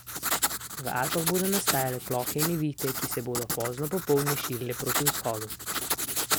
V Alpah bodo nastajale plohe in nevihte, ki se bodo pozno popoldne širile proti vzhodu.